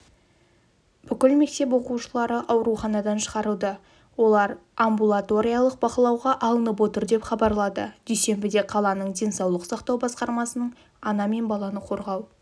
бүкіл мектеп оқушылары ауруханадан шығарылды олар амбулаториялық бақылауға алынып отыр деп хабарлады дүйсенбіде қаланың денсаулық сақтау басқармасының ана мен баланы қорғау